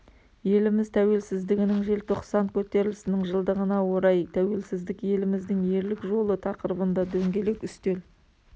еліміз тәуелсіздігінің желтоқсан көтерілісінің жылдығына орай тәуелсіздік еліміздің ерлік жолы тақырыбында дөңгелек үстел